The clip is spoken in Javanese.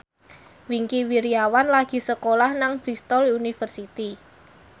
Wingky Wiryawan lagi sekolah nang Bristol university